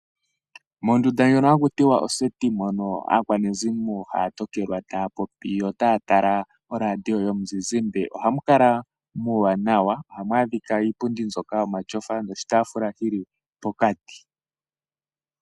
Mondunda ndjono hakutiwa oseti mono aakwanezimo haya tokelwa taya popi yo taya tala oradio yomuzizimba ohamu kala muuwanawa. ohamu adhika iipundi mbyoka yomatyofa noshitaafula shili pokati.